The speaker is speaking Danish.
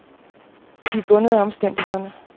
De er bundet af omstændighederne.